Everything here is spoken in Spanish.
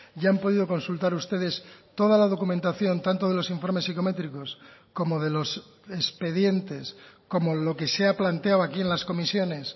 y han podido consultar ustedes toda la documentación tanto de los informes psicométricos como de los expedientes como lo que se ha planteado aquí en las comisiones